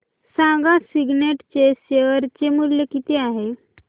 सांगा सिग्नेट चे शेअर चे मूल्य किती आहे